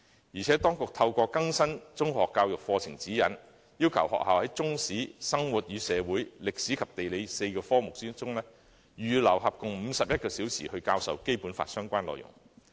而且，當局透過更新《中學教育課程指引》，要求學校在中史、生活與社會、歷史及地理這4個科目中，預留合共51小時來教授《基本法》的相關內容。